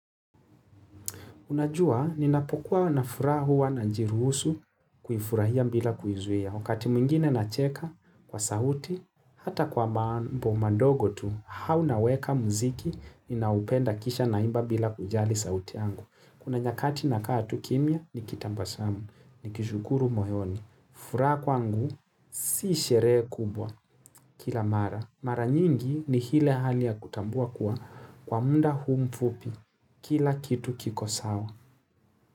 Unajua, ninapokuwa na furaha huwa najiruhusu kuifurahia bila kuizuia. Wakati mwingine nacheka kwa sauti, hata kwa mambo madogo tu, au naweka mziki, ninaopenda kisha naimba bila kujali sauti angu. Kuna nyakati nakaa tu kimya, nikitabasamu, nikishukuru moyoni. Furaha kwangu, si sherehe kubwa kila mara. Mara nyingi ni ile hali ya kutambua kuwa kwa muda huu mfupi kila kitu kiko sawa.